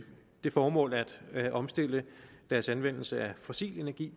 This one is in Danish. det formål at omstille deres anvendelse af fossil energi